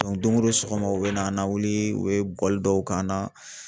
dongo don sɔgɔma u bɛna na wili u bɛ bɔgɔli dɔw k'an na